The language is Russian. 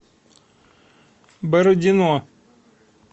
бородино